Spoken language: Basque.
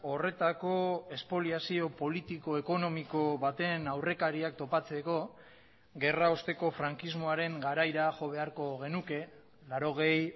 horretako espoliazio politiko ekonomiko baten aurrekariak topatzeko gerra osteko frankismoaren garaira jo beharko genuke laurogei